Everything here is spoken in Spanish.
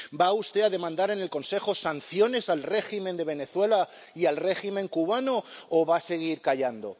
¿Va usted a demandar en el Consejo sanciones al régimen de Venezuela y al régimen cubano o va a seguir callando?